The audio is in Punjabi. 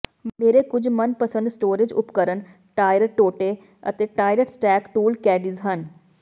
ਮੇਰੇ ਕੁਝ ਮਨਪਸੰਦ ਸਟੋਰੇਜ ਉਪਕਰਣ ਟਾਇਰ ਟੋਟੇ ਅਤੇ ਟਾਇਰ ਸਟੈਕ ਟੂਲ ਕੈਡੀਜ਼ ਹਨ